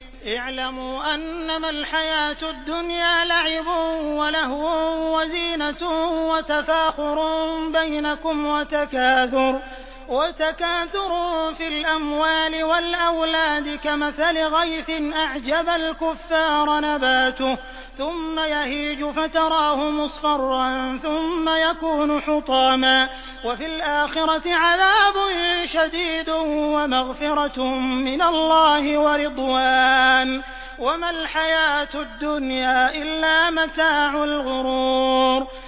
اعْلَمُوا أَنَّمَا الْحَيَاةُ الدُّنْيَا لَعِبٌ وَلَهْوٌ وَزِينَةٌ وَتَفَاخُرٌ بَيْنَكُمْ وَتَكَاثُرٌ فِي الْأَمْوَالِ وَالْأَوْلَادِ ۖ كَمَثَلِ غَيْثٍ أَعْجَبَ الْكُفَّارَ نَبَاتُهُ ثُمَّ يَهِيجُ فَتَرَاهُ مُصْفَرًّا ثُمَّ يَكُونُ حُطَامًا ۖ وَفِي الْآخِرَةِ عَذَابٌ شَدِيدٌ وَمَغْفِرَةٌ مِّنَ اللَّهِ وَرِضْوَانٌ ۚ وَمَا الْحَيَاةُ الدُّنْيَا إِلَّا مَتَاعُ الْغُرُورِ